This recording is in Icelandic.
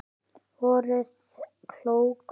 Voruð klók.